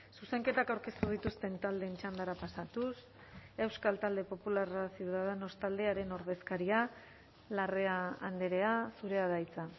zuzenketak aurkeztu dituzten taldeen txandara pasatuz euskal talde popularra ciudadanos taldearen ordezkaria larrea andrea zurea da hitza